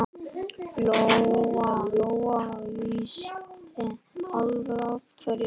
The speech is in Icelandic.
Lóa-Lóa vissi alveg af hverju.